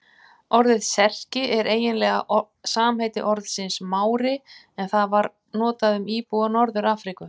Orðið Serki er eiginlega samheiti orðsins Mári en það var notað um íbúa Norður-Afríku.